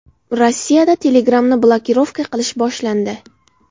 Rossiyada Telegram’ni blokirovka qilish boshlandi.